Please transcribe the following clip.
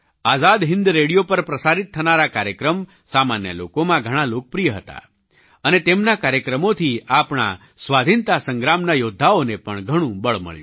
આઝાદ Hind radio પર પ્રસારિત થનારા કાર્યક્રમ સામાન્ય લોકોમાં ઘણા લોકપ્રિય હતા અને તેમના કાર્યક્રમોથી આપણા સ્વાધીનતા સંગ્રામના યૌદ્ધાઓને પણ ઘણું બળ મળ્યું